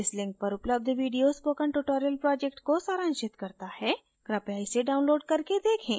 इस link पर उपलब्ध video spoken tutorial project को सारांशित करता है कृपया इसे download करके देखें